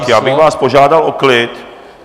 Tak já bych vás požádal o klid.